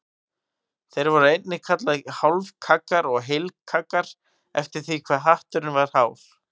Þeir voru einnig kallaðir hálfkaggar og heilkaggar eftir því hve hatturinn var hár.